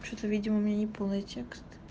вообще то видимо у меня не полный текст